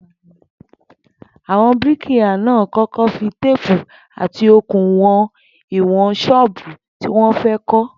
Àwo̩n bíríkìlà náà kó̩kó̩ fi téèpù àti okùn wo̩n ́ìwò̩n s̩óò̩bù tí wó̩n fé̩ kó̩